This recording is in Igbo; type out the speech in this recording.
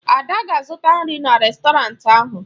Ada ga-azụta nri na rèstọrantị ahụ.